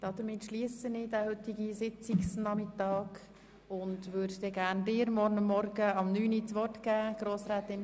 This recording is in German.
Damit schliesse ich den heutigen Sitzungsnachmittag und werde Ihnen, Grossrätin Anne Speiser, gern morgen um 9.00 Uhr das Wort erteilen.